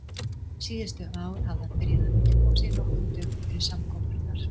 Síðustu ár hafði hann byrjað að undirbúa sig nokkrum dögum fyrir samkomurnar.